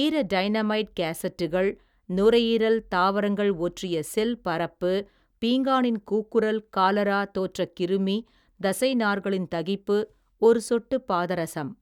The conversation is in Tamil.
ஈரடைனமைட் கேஸட்டுகள் நுரையீரல் தாவரங்கள் ஒற்றிய ஸெல் பரப்பு பீங்கானின் கூக்குரல் காலரா தோற்றக் கிருமி தசைநார்களின் தகிப்பு ஒரு சொட்டு பாதரஸம்.